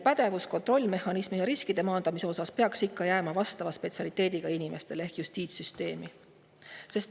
Kontrollimehhanismi ja riskide maandamise osas peaks juriidiline pädevus jääma ikka vastava spetsialiteediga inimestele ehk justiitssüsteemi.